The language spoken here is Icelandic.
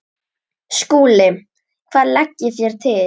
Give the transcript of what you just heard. SKÚLI: Hvað leggið þér til?